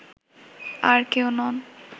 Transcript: আর কেউ নন